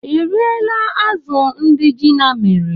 Ị riela azụ̀ ndị Gina mere?